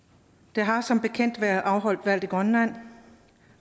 der har som bekendt været afholdt valg i grønland